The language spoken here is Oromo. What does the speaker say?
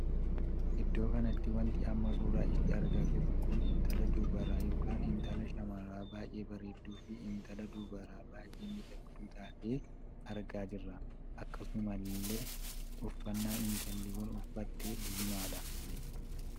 Iddoo kanatti wanti amma suuraa ishee argaa jirru kun intala dubaraa ykn intala shamaraa baay'ee bareedduu fi intala dubaraa baay'ee miidhagduu taatee argaa jirra. akkasuma illee uffannaa intalli Kun uffatti diimaadha.